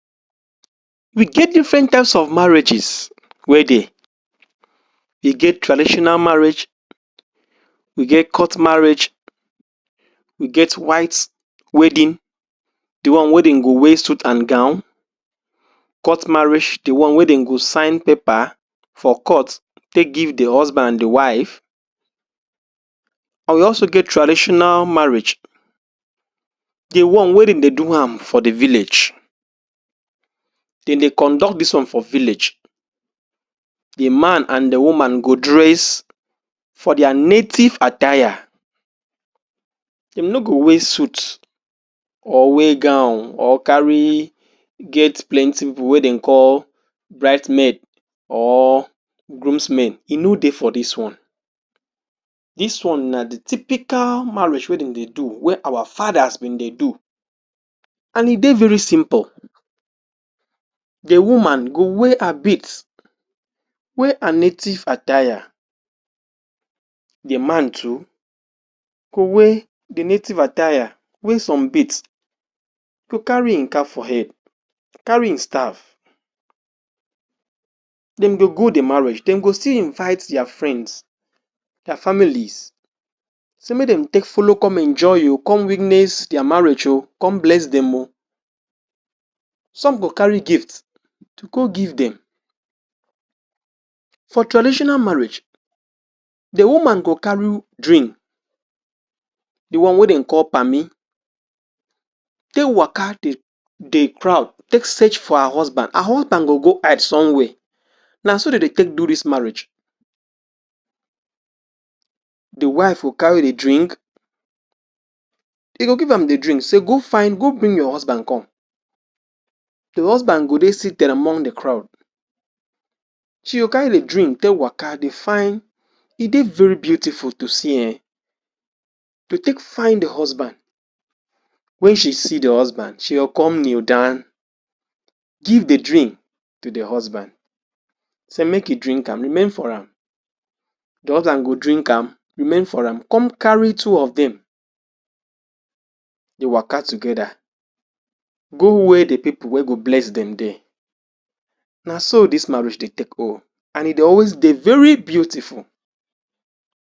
We get different types of marriages we dey we get traditional marriage we get court marriage we get white wedding the one wey dem go wear suit and gown court marraige the one wey dem go sign paper for court take give the husband the wife and we also get traditional marriage the one wey dem dey do am for the village dem dey conduct this one for village the man and the woman go dress for their native attire dey no go wear suit or wear gown or carry get plenty people wey dem call brides maid or grooms men e no dey for this one this one na dey typical marriage wey dem dey do wey our fathers been dey do and e dey very simple the woman go wear her bead wear her native attire the man too go wear the native attire wear some beads go carry him cap for head carry him staff dem go go dey marriage dem go still invite their friends their families say make dem take follow enjoy o come witness their marriage o come bless them o some go carry gift to go give them for traditional marriage the woman go carry drink the one wey dem call pami take waka the crowd take seach for her husband her husband go go hide somewhere naso dey dey take do this marriage the wife go carry the drink the go give am the drink say go find go bring your husband come the husband go dey seated among the crowd till you carry the drink take waka dey find e dey very beautiful to see um find the husband when she see the husband she go come kneel down give the drink to the husband say make e drink am remain for am the husband go drink am remain for am come carry two of them dey waka together go where the people wey go bless them dey naso this marriage dey take o and e dey always dey very beautiful